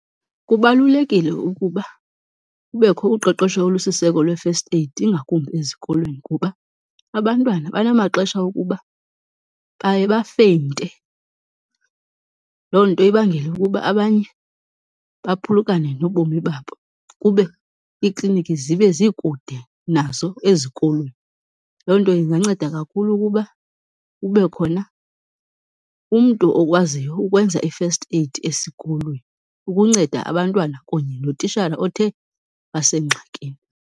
Kubalulekile ukuba kubekho uqeqesho olusiseko lwe-first aid ingakumbi ezikolweni kuba abantwana banamaxesha okuba baye bafeyinte, loo nto ibangele ukuba abanye baphulukane nobomi babo kube iklinikhi zibe zikude nazo ezikolweni. Loo nto inganceda kakhulu ukuba kube khona umntu okwaziyo ukwenza i-first aid esikolweni ukunceda abantwana kunye notishala othe wasengxakini.